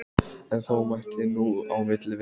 En þó mætti nú á milli vera.